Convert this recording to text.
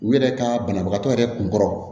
U yɛrɛ ka banabagatɔ yɛrɛ kun kɔrɔ